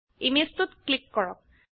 image 2 ত click কৰক